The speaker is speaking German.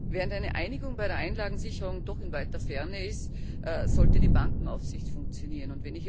Während eine Einigung bei der Einlagensicherung doch in weiter Ferne ist, sollte die Bankenaufsicht funktionieren.